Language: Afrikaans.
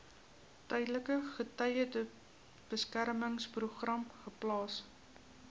tydelike getuiebeskermingsprogram geplaas